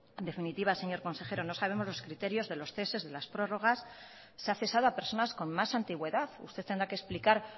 en definitiva señor consejero no sabemos los criterios de los ceses de las prórrogas se ha cesado a personas con más antigüedad usted tendrá que explicar